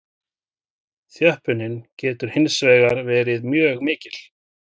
Þjöppunin getur hins vegar verið mjög mikil.